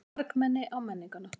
Margmenni á Menningarnótt